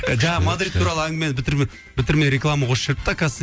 жаңағы мадрид туралы әңгімені бітірмей реклама қосып жіберіпті оказывается